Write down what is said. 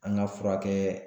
An ka furakɛ